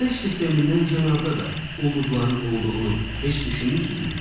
Günəş sistemindən kənarda da ulduzların olduğunu heç düşünmüsünüzmü?